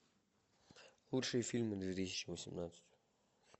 лучшие фильмы две тысячи восемнадцать